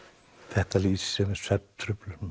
þetta lýsir sér með svefntruflunum